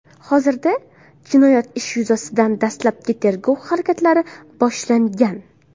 Hozirda jinoyat ishi yuzasidan dastlabki tergov harakatlari boshlangan.